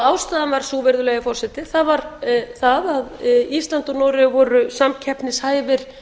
ástæðan var sú virðulegi forseti það var það að ísland og noregur voru samkeppnishæfir